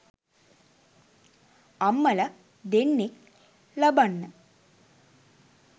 අම්මල දෙන්නෙක් ලබන්න